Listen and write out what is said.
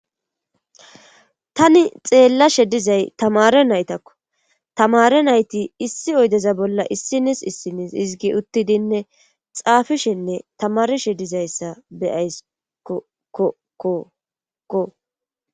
Tani xeellashe dizay tamaare naytakkotamaare nayti issi oydeza bolla issinis issinis izggi uttidinne xaafelishenne tamaarishe dizayssa bauaysko Ko ko ko ko